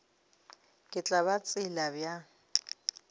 ke tla ba tseba bjang